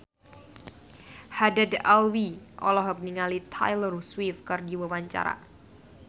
Haddad Alwi olohok ningali Taylor Swift keur diwawancara